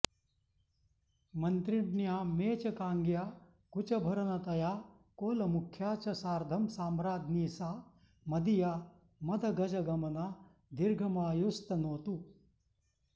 मन्त्रिण्या मेचकाङ्ग्या कुचभरनतया कोलमुख्या च सार्धं साम्राज्ञी सा मदीया मदगजगमना दीर्घमायुस्तनोतु